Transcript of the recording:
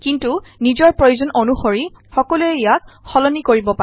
কিন্তু নিজৰ প্ৰয়োজন অনুসৰি সকলোৱে ইয়াক সলনি কৰিব পাৰে